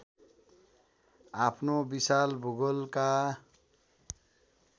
आफ्नो विशाल भूगोलका